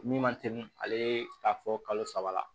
Min ma teli ale ye a fɔ kalo saba la